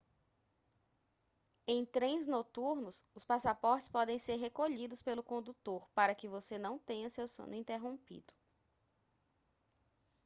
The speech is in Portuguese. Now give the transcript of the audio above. em trens noturnos os passaportes podem ser recolhidos pelo condutor para que você não tenha seu sono interrompido